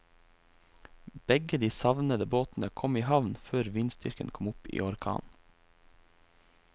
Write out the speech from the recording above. Begge de savnede båtene kom i havn før vindstyrken kom opp i orkan.